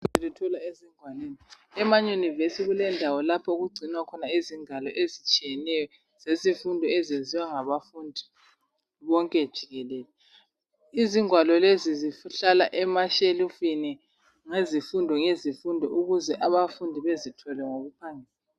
e ma university kulendawo lapho okugcinwa khona ingwalo ezitshiyeneyo zezifundo eziyenziwa ngabafundi bonke jikelele izingwalo lezi zihlala ema shelufini ngezifundo ngezifundo ukuze abafundi bezithole ngokuphangisa